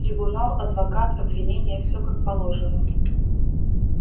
трибунал адвокат обвинение все как положено